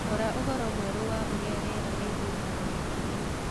roraũhoro mwerũ wa uria rĩera rĩgũĩkara wĩkĩ ino